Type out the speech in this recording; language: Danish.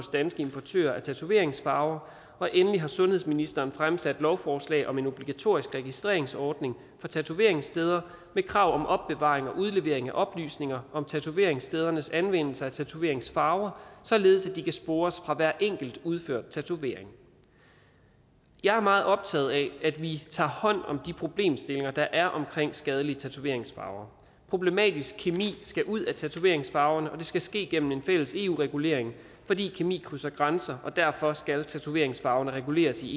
danske importører af tatoveringsfarver og endelig har sundhedsministeren fremsat et lovforslag om en obligatorisk registreringsordning for tatoveringssteder med krav om opbevaring og udlevering af oplysninger om tatoveringsstedernes anvendelse af tatoveringsfarver således at de kan spores for hver enkelt udført tatovering jeg er meget optaget af at vi tager hånd om de problemstillinger der er omkring skadelige tatoveringsfarver problematisk kemi skal ud af tatoveringsfarverne og det skal ske gennem en fælles eu regulering fordi kemi krydser grænser og derfor skal tatoveringsfarverne reguleres i